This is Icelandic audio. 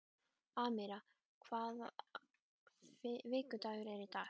Amíra, hvaða vikudagur er í dag?